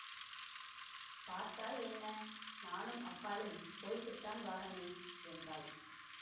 பாத்தா என்ன நானும் அக்காளும் போயிட்டுத்தான் வாரமே என்றாள்